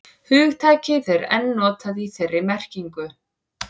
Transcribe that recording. hugtakið er enn notað í þeirri merkingu